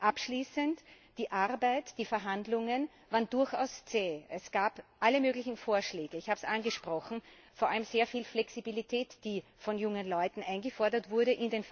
Abschließend die Arbeit, die Verhandlungen, waren durchaus zäh. Es gab alle möglichen Vorschläge ich habe es angesprochen vor allem sehr viel Flexibilität, in den Verhandlungen die von jungen Leuten eingefordert wurde.